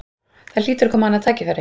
Það hlýtur að koma annað tækifæri